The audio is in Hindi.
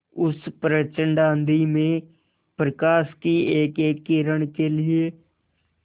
उस प्रचंड आँधी में प्रकाश की एकएक किरण के लिए